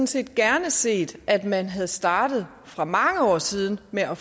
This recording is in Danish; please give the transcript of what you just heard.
set gerne set at man havde startet for mange år siden med at